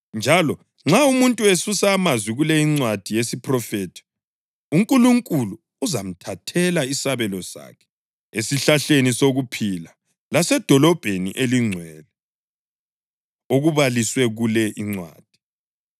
Njalo nxa umuntu esusa amazwi kule incwadi yesiphrofethi, uNkulunkulu uzamthathela isabelo sakhe esihlahleni sokuphila laseDolobheni eliNgcwele, okubaliswe kule incwadi.